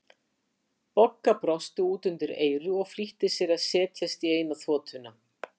Bogga brosti út undir eyru og flýtti sér að setjast í eina þotuna.